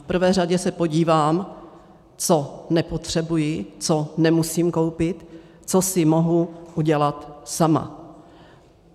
V prvé řadě se podívám, co nepotřebuji, co nemusím koupit, co si mohu udělat sama.